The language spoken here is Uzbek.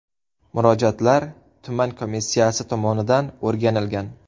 Murojaatlar tuman komissiyasi tomonidan o‘rganilgan.